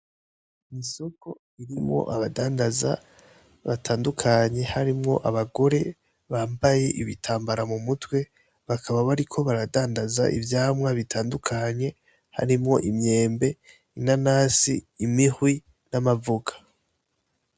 Ni soko irimwo abadandaza batandukanye harimwo abagore bambaye ibitambara mu mutwe, bakaba bariko baradandaza ivyamwa bitandukanye harimwo imyembe, inanasi, imihwi, n'amavoka.